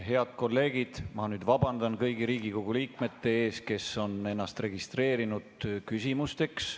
Head kolleegid, ma vabandan nüüd kõigi Riigikogu liikmete ees, kes on ennast registreerinud küsimusteks.